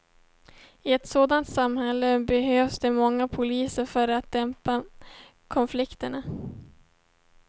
I ett sådant samhälle behövs det många poliser för att dämpa konflikterna.